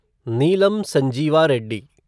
Neelam Sanjiva Reddy